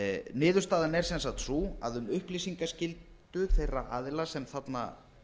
niðurstaðan er sem sagt sú að um upplýsingaskyldu þeirra aðila sem þarna